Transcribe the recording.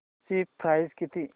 ची प्राइस किती